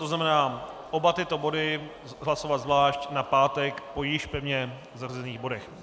To znamená, oba tyto body hlasovat zvlášť na pátek po již pevně zařazených bodech.